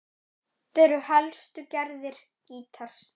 Þetta eru helstu gerðir gítars